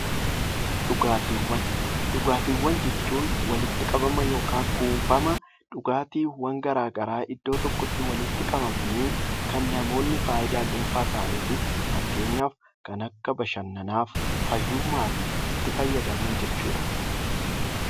Dhugaatiiwwan jechuun walitti qabama yookaan walitti qabama wantoota garaagaraa iddoo tokkotti walitti qabamanii kan namoonni fayidaa dhuunfaa isaaniif fakkeenyaaf bashannanaaf itti fayyadaman jechuudha .